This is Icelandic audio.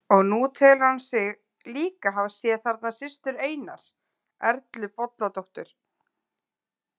Og nú telur hann sig líka hafa séð þarna systur Einars, Erlu Bolladóttur.